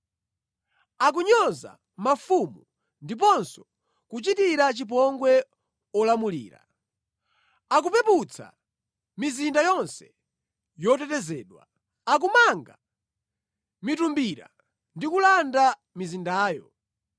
Akunyoza mafumu ndiponso kuchitira chipongwe olamulira. Akupeputsa mizinda yonse yotetezedwa; akumanga mitumbira ndi kulanda mizindayo.